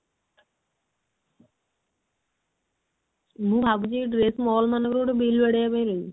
ମୁଁ ଭାବୁଛି ଏଇ dress mall ମାନଙ୍କ ରେ ଗୋଟେ bill ହେବି